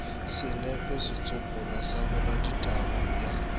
senepe setsopolwa sa boraditaba bj